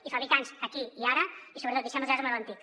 i fabricants aquí i ara sobretot deixem ja el model antic